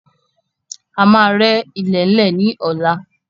A máa rẹ́ ilẹ̀lẹ́ ni ọ̀la